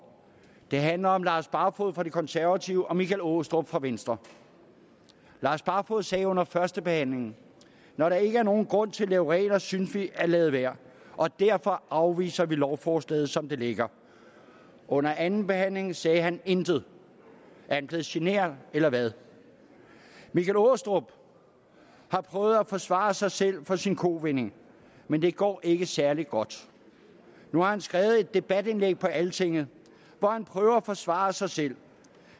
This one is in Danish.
det handler om lars barfoed fra de konservative og michael aastrup jensen fra venstre lars barfoed sagde under førstebehandlingen når der ikke er nogen grund til at lave regler synes vi vi lade være og derfor afviser vi lovforslaget som det ligger under andenbehandlingen sagde han intet er han blevet genert eller hvad michael aastrup har prøvet at forsvare sig selv for sin kovending men det går ikke særlig godt nu har han skrevet et debatindlæg på altinget hvor han prøver at forsvare sig selv